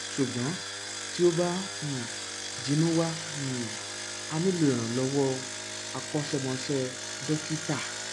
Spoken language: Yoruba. ṣùgbọn tí ó bá um jinnú wà um á nílò ìrànlọwọ akọṣẹmọṣẹ dókítà